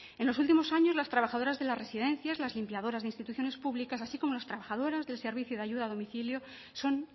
en los últimos años las trabajadoras de las residencias las limpiadoras de instituciones públicas así como las trabajadoras del servicio de ayuda a domicilio son